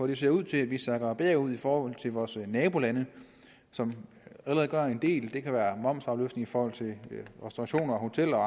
det ser ud til at vi sakker bagud i forhold til vores nabolande som allerede gør en del det kan være momsafløftning i forhold til restaurationer og hoteller og